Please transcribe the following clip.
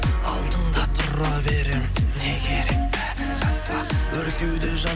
алдыңда тұра берем не керек бәрін жаса өр кеуде